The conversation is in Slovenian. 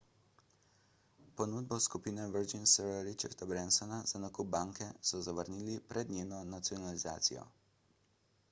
ponudbo skupine virgin sira richarda bransona za nakup banke so zavrnili pred njeno nacionalizacijo